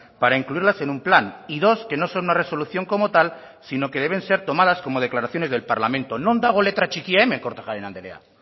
para incluirlas en un plan y dos que no son una resolución como tal sino que deben ser tomadas como declaraciones del parlamento non dago letra txikia hemen kortajarena andrea